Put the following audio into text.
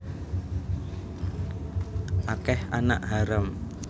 Akeh anak haram